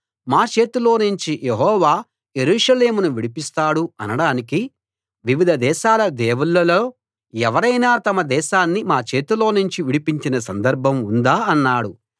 మా చేతిలోనుంచి యెహోవా యెరూషలేమును విడిపిస్తాడు అనడానికి వివిధ దేశాల దేవుళ్లలో ఎవరైనా తమ దేశాన్ని మా చేతిలోనుంచి విడిపించిన సందర్భం ఉందా అన్నాడు